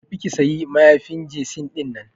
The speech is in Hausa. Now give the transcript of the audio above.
Ki tafi ki sayi mayafin jesi dinnan.